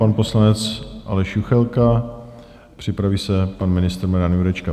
Pan poslanec Aleš Juchelka, připraví se pan ministr Marian Jurečka.